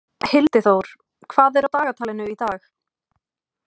Hildiþór, hvað er á dagatalinu í dag?